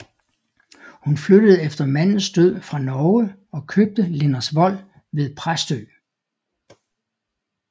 Hun flyttede efter mandens død fra Norge og købte Lindersvold ved Præstø